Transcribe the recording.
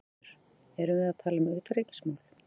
Fréttamaður: Erum við að tala um utanríkismál?